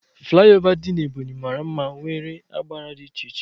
Fulaiova dị n'Ebonyi mara mma nwere agba dị iche iche